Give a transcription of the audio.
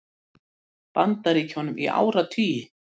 Bandaríkjunum í áratugi.